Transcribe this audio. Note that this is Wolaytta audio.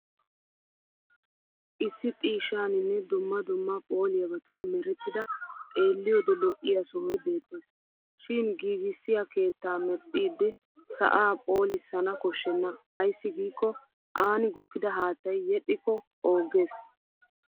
Issi xiishshaaninne dumma dumma phooliyabatun merettida xeelliyoode lo'iya sohoy beettes. Shin giigissiyaa ketta medhdhiiddi sa'aa phoolissana koshshenna ayssi giikko aani gukkida haattaa yedhdhikko oogges.